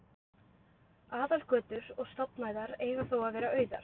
Aðalgötur og stofnæðar eigi þó að vera auðar.